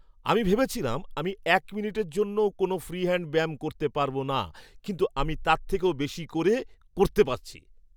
আমি ভেবেছিলাম আমি এক মিনিটের জন্যও কোনও ফ্রি হ্যাণ্ড ব্যায়াম করতে পারব না, কিন্তু আমি তার থেকেও বেশি করে করতে পেরেছি।